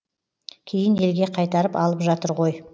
кейін елге қайтарып алып жатыр ғой